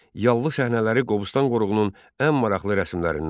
Yallı səhnələri Qobustan qoruğunun ən maraqlı rəsmlərindəndir.